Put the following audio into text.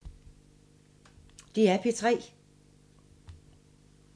DR P3